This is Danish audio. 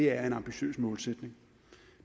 er en ambitiøs målsætning